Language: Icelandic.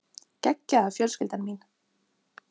Geggjaða fjölskyldan mín.